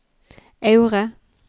Aure